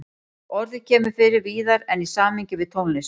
Orðið kemur fyrir víðar en í samhengi við tónlist.